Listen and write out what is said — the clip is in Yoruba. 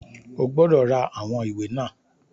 O gbọ́dọ̀ ra àwọn ìwé náà!